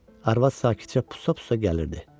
Arvad sakitcə pusa-pusa gəlirdi.